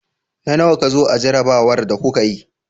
Na nawa ka zo a jarrabawar da kuka yi?